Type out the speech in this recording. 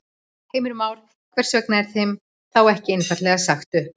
Heimir Már: Hvers vegna er þeim þá ekki einfaldlega sagt upp?